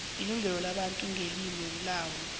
ilungelo labantu ngelimu labo